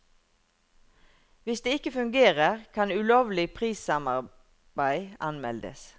Hvis det ikke fungerer, kan ulovlig prissamarbeid anmeldes.